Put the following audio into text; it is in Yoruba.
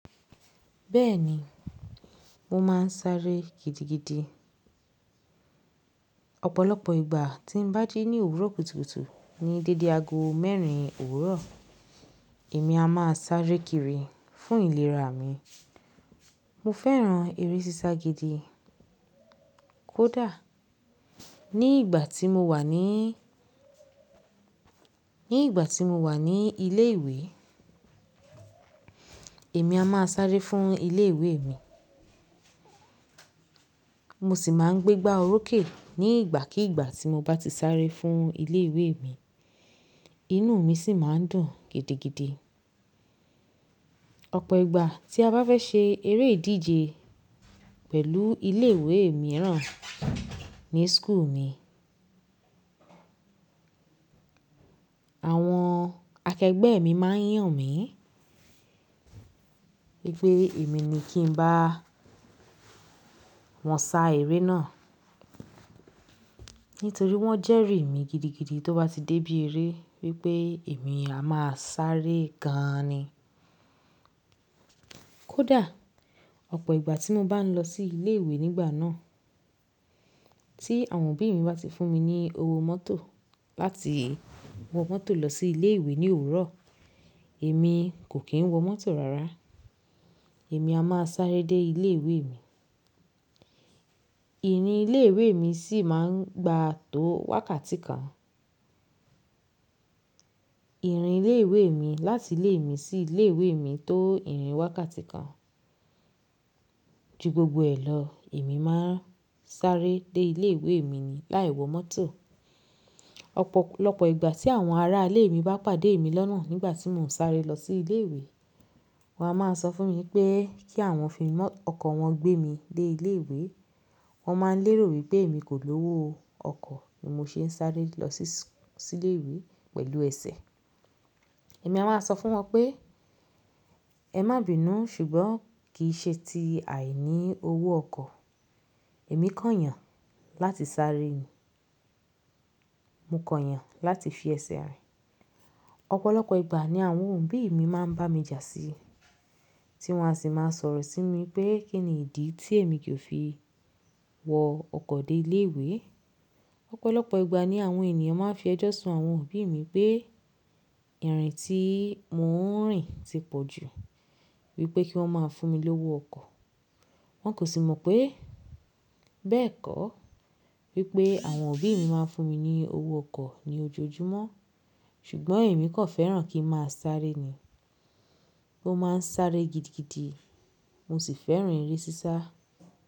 Bẹ́ẹ̀ni, mo máa ń sáré gidigidi. Ọ̀pọ̀lọpọ̀ ìgbà tí ń bá dé ní òwúrọ̀ kùtùkùtù ní dédé ago mẹ́rin òwúrọ̀, èmi a máa sáré kiri fún ìlera mi. Mo fẹ́ràn eré sísá gidi. Kódà ní ìgbà tí mo wà ní, ní ìgbà tí mo wà ní ilé ìwé, èmi a máa sáré fún ilé ìwé mi. Mo sì máa ń gbé gbá orókè ní ìgbàkígbà tí mo bá ti sáré fún ilé ìwé mi. Inú mi sì máa ń dùn gidigidi. Ọ̀pọ̀ ìgbà tí a bá fẹ́ ṣe eré ìdíje pẹ̀lú ilé ìwé mìíràn ní suku mi, àwọn akẹgbẹ́ mi máa yàn mí pé pé èmi ni kí n bá wọn sá eré náà. Nítorí wọ́n jẹ́rìí mi gidigidi tó bá ti dé bí eré wípé èmi a máa sáré gan ni. Kódà ọ̀pọ̀ ìgbà tí mo bá ń lọ sí ilé ìwé nígbà náà, tí àwọn òbí mi bá ti fún mi ní owó mọ́tò láti wọ mọ́tò lọ sí ilé ìwé ní òwúrọ̀, èmi kò kí ń wọ mọ́tò rárá. Èmi a máa sáré dé ilé ìwé mi. Ìrìn ilé ìwé mi sì máa ń gbà tó wákàtí kan. Ìrìn ilé ìwé mi láti ilé mi sí ilé ìwé mi tó ìrìn wákàtí kan. Ju gbogbo rẹ lọ, èmi máa ń sáré dé ilé ìwé mi ni láì wọ mọ́tò. Ọ̀pọ̀lọpọ̀ ìgbà tí àwọn ará ilé mi bá pàdé mi lọ́nà nígbà tí mò ń sáré lọ sí ilé ìwé, wọ́n á máa sọ fún mi pé kí àwọn fi ọkọ̀ wọn gbé mi dé ilé ìwé. Wọn máa ń lérò wípé èmi kò lówó ọkọ̀ ni mo ṣe ń sáré lọ sí ilé ìwé pẹ̀lú ẹsẹ̀. Èmi a máa sọ fún wọn pé "Ẹ má bìnú ṣùgbọ́n kì í ṣe ti àìní owó ọkọ̀. Èmi kàn yàn láti sáré ni. Mo kàn yàn láti fi ẹsẹ̀ rìn." Ọ̀pọ̀lọpọ̀ ìgbà ni àwọn òbí mi máa ń bá mi jà sí i tí wọ́n a sì máa sọ̀rọ̀ sí mi pé kí ni ìdí tí èmi kì í fi wọ ọkọ̀ dé ilé ìwé. Ọ̀pọ̀lọpọ̀ ìgbà ni àwọn ènìyàn máa ń fi ẹjọ́ sun àwọn òbí mi pé ìrìn tí mò ń rìn ti pọ̀ jù wípé kí wọ́n máa fún mi lówó ọkọ̀. Wọn kò sì mọ̀ pé bẹ́ẹ̀kọ́, wípé àwọn òbí mi máa ń fún mi ní owó ọkọ̀ ní ojoojúmọ́ ṣùgbọ́n èmi kọ́ fẹ́ràn kí ń máa sáré ni. Mo máa ń sáré gidigidi, mo sì fẹ́ràn eré sísá.